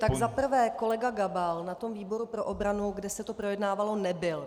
Tak za prvé, kolega Gabal na tom výboru pro obranu, kde se to projednávalo, nebyl.